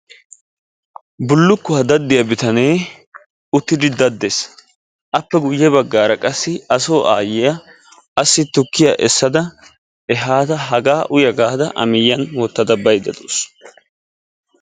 Bullukkuwa daddiya bitanee uttidi daddes appe guyye baggaara qassi a soo aayyiya assi tukkiya essada ehaada hagaa uya gaada a miyyiyan wottada baydda de"awus.